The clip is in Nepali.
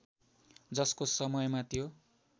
जसको समयमा त्यो